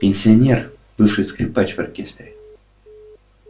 пенсионер бывший скрипач в оркестре